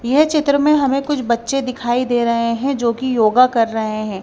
येह चित्र में हमें कुछ बच्चे दिखाई दे रहे हैं जोकि योगा कर रहे हैं।